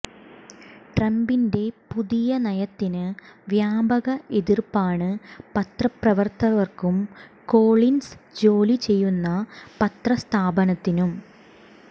ട്രംപിന്റെ പുതിയ നയത്തിന് വ്യാപക എതിർപ്പാണ് പത്രപ്രവർത്തകർക്കും കോളിൻസ് ജോലി ചെയ്യുന്ന പത്രസ്ഥാപനത്തിനും